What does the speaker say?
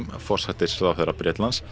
forsætisráðherra Bretlands